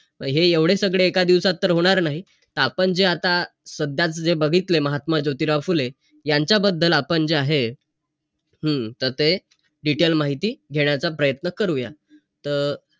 मी हे एवढे सगळे एका दिवसात तर होणार नाही. त आपण जे आता, सध्याच जे बघितले, महात्मा ज्योतिराव फुले. यांच्याबद्दल आपण जे आहे, हम्म त ते detail माहिती घेण्याचा प्रयत्न करूया. तर~